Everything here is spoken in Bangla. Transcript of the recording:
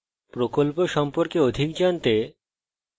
spoken tutorial প্রকল্প সম্পর্কে অধিক জানতে